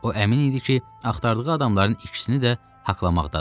O əmin idi ki, axtardığı adamların ikisini də haqlamaqdadır.